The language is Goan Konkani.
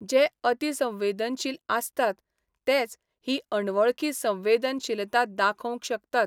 जे अतिसंवेदनशील आसतात तेच ही 'अणवळखी संवेदनशीलता 'दाखोवंक शकतात.